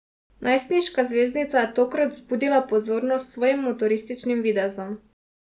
Najstniška zvezdnica je tokrat vzbudila pozornost s svojim motorističnim videzom.